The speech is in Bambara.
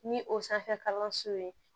Ni o sanfɛ kalanso ye